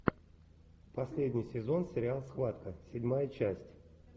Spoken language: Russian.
последний сезон сериал схватка седьмая часть